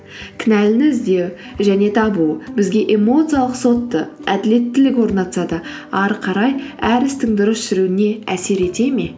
кінәліні іздеу және табу бізге эмоциялық сотты әділеттілік орнатса да әрі қарай әр істің дұрыс жүруіне әсер ете ме